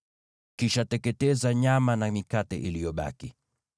Kisha teketeza nyama na mikate iliyobaki.